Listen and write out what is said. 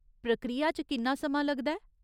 प्रक्रिया च किन्ना समां लगदा ऐ ?